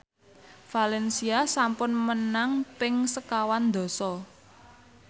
valencia sampun menang ping sekawan dasa